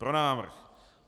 Pro návrh.